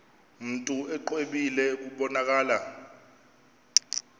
mntu exwebile kubonakala